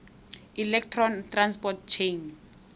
electron transport chain